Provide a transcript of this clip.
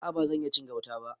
A a ban iya cin gauta ba.